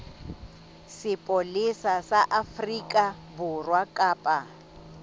sepolesa sa afrika borwa kapa